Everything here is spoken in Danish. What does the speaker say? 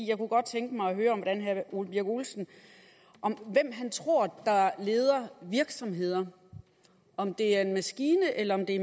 jeg kunne godt tænke mig at høre herre ole birk olesen tror leder virksomheder om det er en maskine eller om det